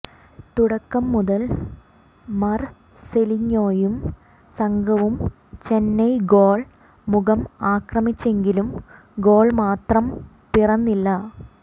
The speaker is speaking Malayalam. തുടക്കം മുതൽ മർസെലിഞ്ഞോയും സംഘവും ചെന്നൈ ഗോൾ മുഖം ആക്രമിച്ചെങ്കിലും ഗോൾ മാത്രം പിറന്നില്ല